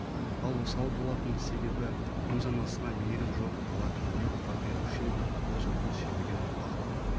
ал осал болатын себебі өз анасына мейірім жоқ бала кімге опа беруші еді өз ұлтын сүймеген ұрпақ та